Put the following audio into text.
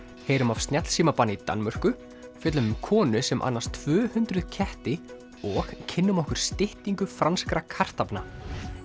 heyrum af snjallsímabanni í Danmörku fjöllum um konu sem annast tvö hundruð ketti og kynnum okkur styttingu franskra kartaflna